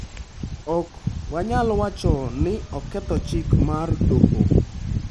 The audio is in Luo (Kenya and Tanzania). Ok wanyal wacho ni ne oketho chik mar doho''.